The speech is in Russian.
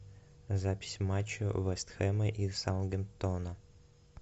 запись матча вест хэма и саутгемптона